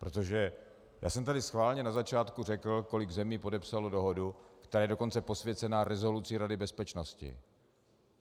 Protože já jsem tady schválně na začátku řekl, kolik zemí podepsalo dohodu, která je dokonce posvěcená rezolucí Rady bezpečnosti.